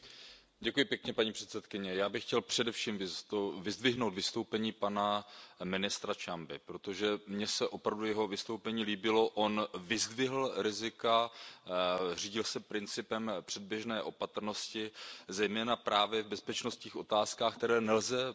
Paní předsedající, já bych chtěl především vyzdvihnout vystoupení pana ministra Ciamby, protože mně se opravdu jeho vystoupení líbilo, on vyzdvihl rizika, řídil se principem předběžné opatrnosti, zejména právě v bezpečnostních otázkách, které nelze podceňovat.